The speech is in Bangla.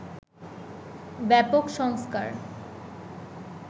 ব্যাপক সংস্কার